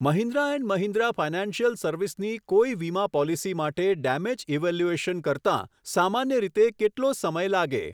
Mahindra and Mahindra financial service ની કોઈ વીમા પોલીસી માટે ડેમેજ ઈવેલ્યુએશન કરતા સામાન્ય રીતે કેટલો સમય લાગે ?